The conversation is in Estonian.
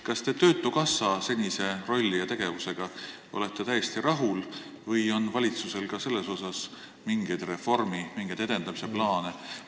Kas te töötukassa senise rolli ja tegevusega olete täiesti rahul või on valitsusel ka selles osas mingeid reformi- või lihtsalt edendamise plaane?